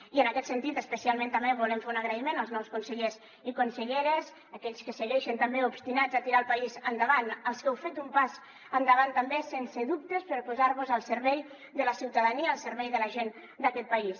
i en aquest sentit especialment també volem fer un agraïment als nous consellers i conselleres aquells que segueixen també obstinats a tirar el país endavant als que heu fet un pas endavant també sense dubtes per posar vos al servei de la ciutadania al servei de la gent d’aquest país